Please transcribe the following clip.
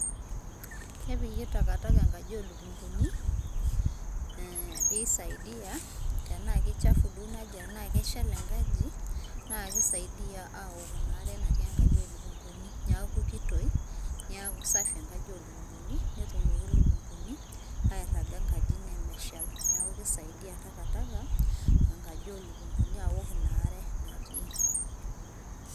kepiki takataka enkaji oo lukunguni, pee eisaidia, tenaa kichafu duo inaaji enaa keshal enkaji, naa kisaidia aoku ina are natii enkaji ooluknguni. niaku kitoi, niaku safi enkaji ooluknguni, netumoki ilukunguni airaga enkaji nemeshal. neeku kisaidia takataka enkaji oolukunguni aok ina are natii.